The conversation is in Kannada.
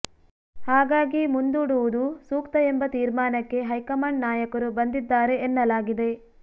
ಹಾಗಾಗಿ ಮುಂದೂಡುವುದು ಸೂಕ್ತ ಎಂಬ ತೀರ್ಮಾನಕ್ಕೆ ಹೈಕಮಾಂಡ್ ನಾಯಕರು ಬಂದಿದ್ದಾರೆ ಎನ್ನಲಾಗಿದೆ